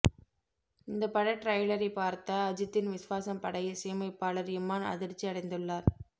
இந்த பட டிரெய்லரை பார்த்த அஜித்தின் விஸ்வாசம் பட இசையமைப்பாளர் இமான் அதிர்ச்சி அடைந்துள்ளார்